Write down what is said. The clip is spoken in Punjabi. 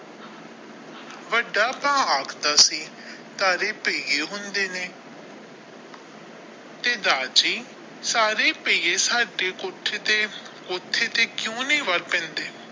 ਵੱਡਾ ਭਰਾ ਆਖਦਾ ਸੀ ਤਾਰੇ ਹੁੰਦੇ ਨੇ ਤੇ ਦਾਰ ਜੀ ਸਾਰੇ ਸਾਡੇ ਕੋਠੇ ਤੇ ਕੋਠੇ ਤੇ ਕਿਊ ਨਹੀਂ ਵੜ ਪੈਂਦੇ।